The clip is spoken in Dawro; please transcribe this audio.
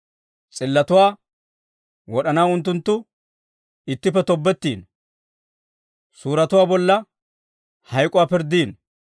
S'illotuwaa wod'anaw unttunttu ittippe tobbetiino; suuretuwaa bolla hayk'k'uwaa pirddiino.